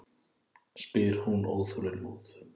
spyr hún óþolinmóð.